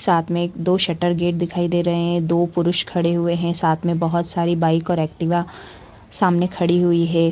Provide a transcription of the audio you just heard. साथ में एक दो शटर गेट दिखाई दे रहे है दो पुरुष खड़े हुए है साथ में बहुत सारी बाइक और एक्टिवा सामने खड़ी हुई है।